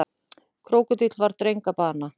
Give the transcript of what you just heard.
Krókódíll varð dreng að bana